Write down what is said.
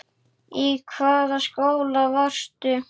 Í hvaða skóla varstu?